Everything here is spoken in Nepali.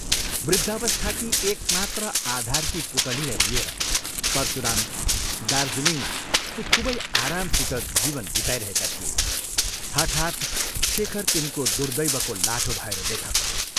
वृद्धावस्थाकी एकमात्र आधारकी पुतलीलाई लिएर परशुराम दार्जीलिङमा ती खूबै आरामसित जीवन बिताइरहेका थिए हठात् शेखर तिनको दुर्दैवको लाठो भएर देखा पऱ्यो ।